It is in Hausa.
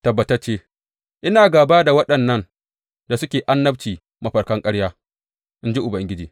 Tabbatacce, ina gāba da waɗannan da suke annabci mafarkan karya, in ji Ubangiji.